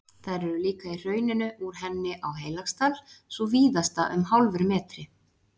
Þær eru líka í hrauninu úr henni á Heilagsdal, sú víðasta um hálfur metri.